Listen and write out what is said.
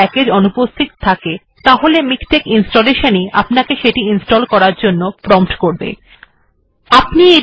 যদি কোনো প্যাকেজ্ অনুপস্হিত থাকে তাহলে মিকটেক্ ইনস্টলেশান ই আপনাকে সেটি ইনস্টল্ করার জন্য প্রম্পট করবে বা জিঞ্জাসা করবে